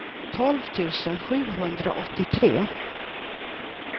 tolv tusen sjuhundraåttiotre